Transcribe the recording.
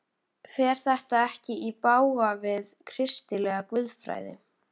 Fer þetta ekki í bága við kristilega guðfræði?